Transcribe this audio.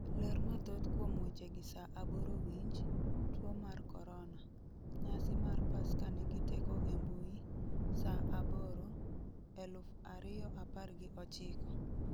ler mathoth kuom wechegi 2:00 Winj, Tuo mar Korona: Nyasi mar Paska nigi teko e mbui, Saa 2,00, 2019